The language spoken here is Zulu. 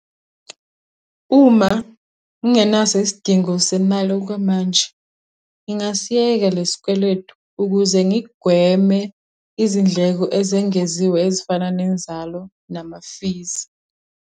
Uma ngingenaso isidingo semali okwamanje, ngingasiyeka le sikweletu ukuze ngigweme izindleko ezengeziwe ezifana nenzalo nama-fees.